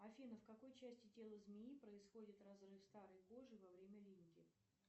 афина в какой части тела змеи происходит разрыв старой кожи во время линьки